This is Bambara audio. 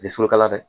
Ni solikala dɛ